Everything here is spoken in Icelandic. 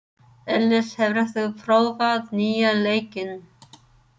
Elis, hefur þú prófað nýja leikinn?